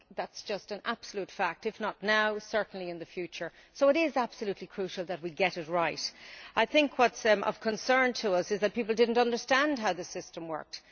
I think that is an absolute fact if not now, then certainly in the future. So it is absolutely crucial that we get it right. I think what is of concern to us is that people did not understand how the system worked.